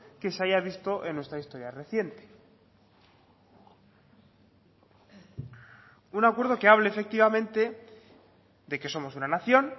que se haya visto en nuestra historia reciente un acuerdo que hable efectivamente de que somos una nación